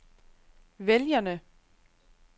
vælgerne